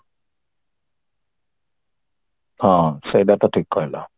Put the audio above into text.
ହଁ ସେଇଟା ତ ଠିକ କହିଲ